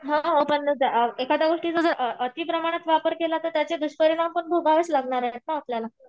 हो हो पण एखाद्या गोष्टीचा जर अतिप्रमाणात वापर केला तर त्याचे दुष्परिणाम पण भोगावेच लागणार आहेत ना आपल्याला.